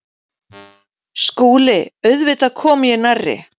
SKÚLI: Auðvitað kom ég nærri.